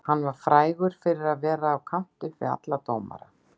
Hann var frægur fyrir að vera upp á kant við alla dómara.